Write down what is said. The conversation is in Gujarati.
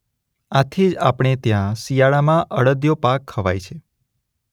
આથી જ આપણે ત્યાં શિયાળામાં અડદિયો પાક ખવાય છે.